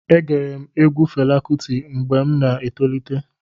E gere m egwu Fela Kuti mgbe m na-etolite.